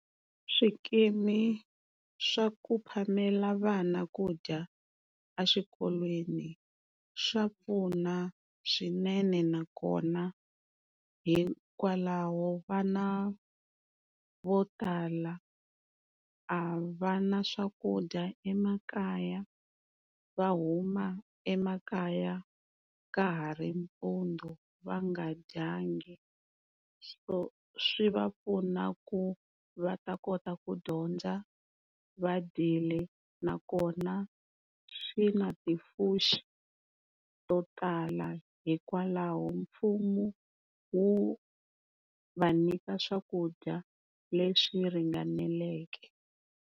Swikimi swa ku phamela vana ku dya eswikolweni swa pfuna swinene nakona hikwalaho vana vo tala a va na swakudya emakaya, va huma emakaya ka ha ri mpundzu va nga dyangi, so swi va pfuna ku va ta kota ku dyondza va dyile nakona swi na to tala hikwalaho mfumo wu va nyika swakudya leswi ringaneleke.